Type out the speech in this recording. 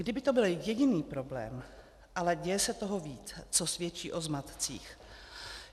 Kdyby to byl jediný problém, ale děje se toho víc, co svědčí o zmatcích.